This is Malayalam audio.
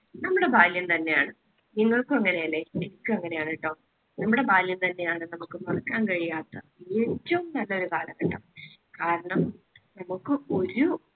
നമ്മുടെ ബാല്യം തന്നെയാണ് നിങ്ങൾക്കും അങ്ങനെയല്ലേ? എനിക്കും അങ്ങനെയാണ് ട്ടോ. നമ്മുടെ ബാല്യം തന്നെയാണ് നമുക്ക് മറക്കാൻ കഴിയാത്ത ഏറ്റവും നല്ലൊരു കാലഘട്ടം. കാരണം നമുക്ക് ഒരു